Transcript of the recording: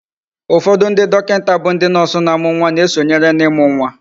ufodu ndi dokinta bu ndi nurse na amu nwa na esonyere na imu nwa